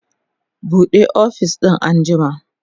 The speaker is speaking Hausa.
buɗe ofis din an jima!